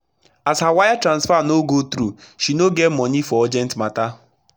as her wire transfer no go through she no get monei for urgent matter